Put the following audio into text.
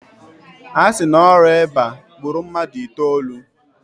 A si na ọrịa eba gburu mmadụ itoolu.